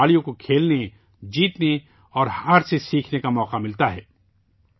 ان سے کھلاڑیوں کو کھیلنے، جیتنے اور ہار سے سیکھنے کا موقع ملتا ہے